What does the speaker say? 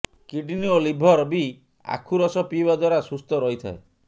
kidney ଓ liver ବି ଆଖୁ ରସ ପିଇବା ଦ୍ୱାରା ସୁସ୍ଥ ରହିଥାଏ